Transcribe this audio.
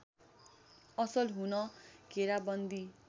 असल हुन घेराबन्दी